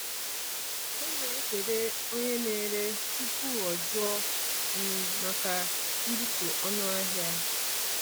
Ọ na-ekele onye na-ere tupu o jụọ um maka mbutu ọnụ ahịa.